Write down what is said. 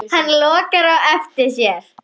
Hann lokar á eftir sér.